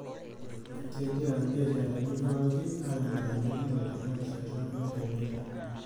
Kegira mbiasharani pookin aimaa engoloto tenarishata olemeitai.